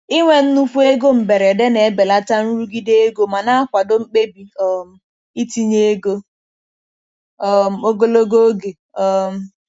Inwe nnukwu ego mberede na-ebelata nrụgide ego ma na-akwado mkpebi um itinye ego um ogologo oge. um